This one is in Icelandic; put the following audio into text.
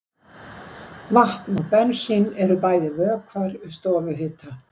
Vatn og bensín eru bæði vökvar við stofuhita.